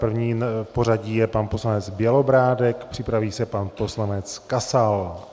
První v pořadí je pan poslanec Bělobrádek, připraví se pan poslanec Kasal.